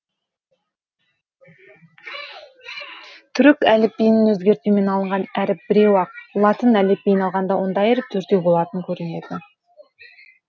түрік әліббиінен өзгертумен алынған әріп біреу ақ латын әліббиін алғанда ондай әріп төртеу болатұн көрінеді